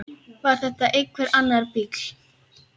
Var þetta einhver annar bíll?